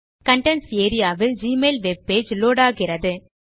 contents area வில் Gmail webpage load ஆகிறது